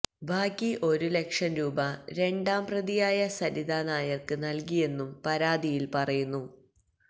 ബാക്കി ഒരു ലക്ഷം രൂപ രണ്ടാം പ്രതിയായ സരിതാ നായർക്ക് നൽകിയെന്നും പരാതിയിൽ പറയുന്നു